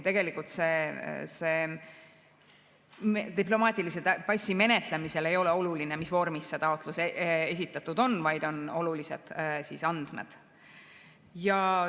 Tegelikult ei ole diplomaatilise passi menetlemisel oluline, mis vormis see taotlus esitatud on, olulised on andmed.